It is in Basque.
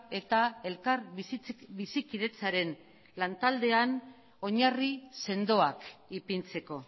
eta elkar bizikidetzaren lantaldean oinarri sendoak ipintzeko